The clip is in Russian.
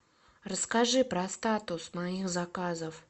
расскажи про статус моих заказов